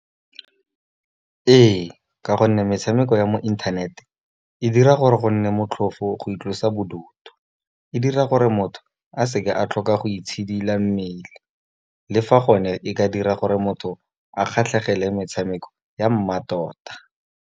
Ee, Ka gonne metshameko ya mo internet, e dira gore go nne motlhofo go itlosa bodutu. E dira gore motho a seke a tlhoka go itshidila mmele, le fa gone e ka dira gore motho a kgatlhegele metshameko ya mmatota.